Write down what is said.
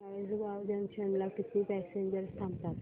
Chalisgaon junction ला किती passengers थांबतात